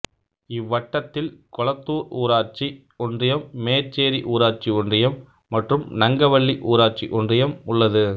இவ்வட்டத்தில் கொளத்தூர் ஊராட்சி ஒன்றியம் மேச்சேரி ஊராட்சி ஒன்றியம் மற்றும் நங்கவள்ளி ஊராட்சி ஒன்றியம் உள்ளது